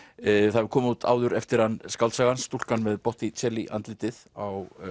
það hefur komið út áður eftir hann skáldsagan stúlkan með andlitið á